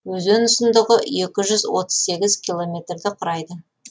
өзен ұзындығы екі жүз отыз сегіз километрді құрайды